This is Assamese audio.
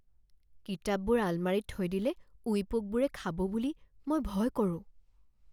কিতাপবোৰ আলমাৰীত থৈ দিলে উঁই পোকবোৰে খাব বুলি মই ভয় কৰোঁ।